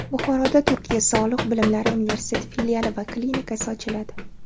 Buxoroda Turkiya sog‘liq bilimlari universiteti filiali va klinikasi ochiladi.